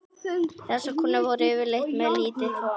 Þessar konur voru yfirleitt með lítinn þvott.